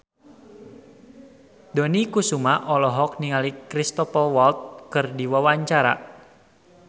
Dony Kesuma olohok ningali Cristhoper Waltz keur diwawancara